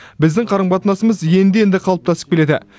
біздің қарым қатынасымыз енді енді қалыптасып келеді